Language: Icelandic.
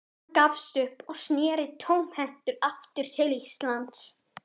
Hann gafst upp og sneri tómhentur aftur til Íslands.